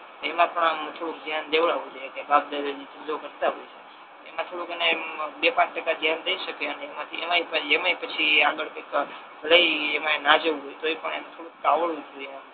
એમા પણ આમ થોડુક ધ્યાન દેવડવુ જોઈએ કે બાપ દાદા ને એ ધંધો કરતા હોય એમા થોડુક એને એમ એને બે પાંચ ટકા ધ્યાન દઈ શકે એન એમાય પછી કયાક આગળ કાઈક ભલે ઈ એમા ના જાઉ હોય તોયે પણ થોડુક એમ એને આવડવુ જોઈએ